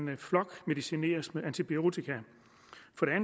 kan flokmedicineres med antibiotika